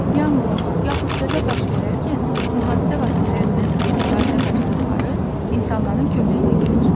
Yanğın yaxud qəza baş verərkən mühafizə vasitələrindən istifadə bacarıqları insanların köməyinə gəlir.